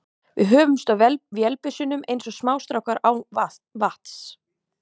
Við hömumst á vélbyssunum eins og smástrákar á vatns